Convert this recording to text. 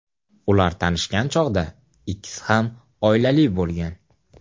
Ular tanishgan chog‘da ikkisi ham oilali bo‘lgan.